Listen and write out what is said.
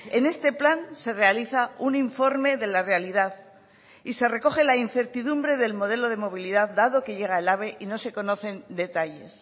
en este plan se realiza un informe de la realidad y se recoge la incertidumbre del modelo de movilidad dado que llega el ave y no se conocen detalles